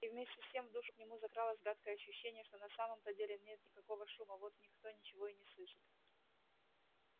и вместе с тем в душу к нему закралось гадкое ощущение что на самом-то деле нет никакого шума вот никто ничего и не слышит